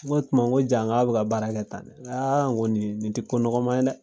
Ŋo o tuma ŋo ja ŋ'a' bɛ ka baara kɛ tan de. Ŋaa ŋo niin, nin te ko nɔgɔman ye dɛ.